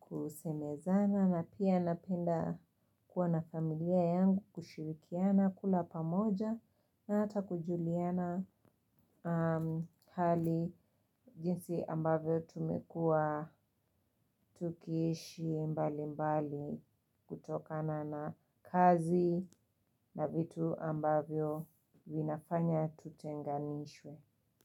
kusemezana na pia napenda kuwa na familia yangu kushirikiana kula pamoja na hata kujuliana hali jinsi ambavyo tumekua tukiishi mbali mbali kutokana na kazi na vitu ambavyo vinafanya tutenganishwe.